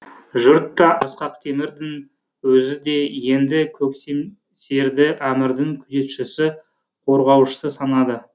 жұрт та ақсақ темірдің өзі де енді көксемсерді әмірдің күзетшісі қорғаушысы санады